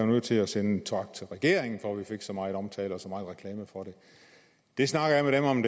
nødt til at sende en tak til regeringen for at vi fik så meget omtale og så meget reklame for det det snakker jeg med dem om